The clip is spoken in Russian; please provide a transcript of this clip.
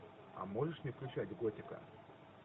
у можешь мне включать готика